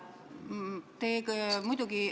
Lugupeetud ettekandja!